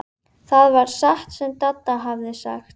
Til þess verks var notaður Litli borinn.